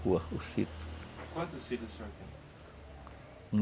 Quantos filhos o senhor tem?